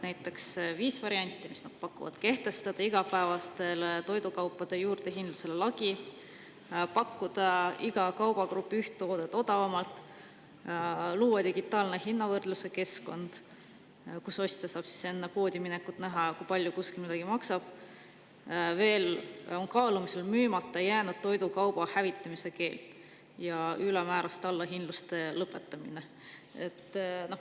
Näiteks, viis varianti, mis nad pakuvad: kehtestada igapäevaste toidukaupade juurdehindlusele lagi, pakkuda iga kaubagrupi üht toodet odavamalt, luua digitaalne hinnavõrdluse keskkond, kus ostja saab enne poodi minekut näha, kui palju kuskil midagi maksab, veel on kaalumisel müümata jäänud toidukauba hävitamise keeld ja ülemääraste allahindluste lõpetamine.